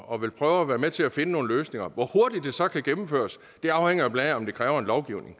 og vil prøve at være med til at finde nogle løsninger hvor hurtigt det så kan gennemføres afhænger blandt andet af om det kræver en lovgivning